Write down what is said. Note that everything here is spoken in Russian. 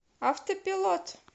автопилот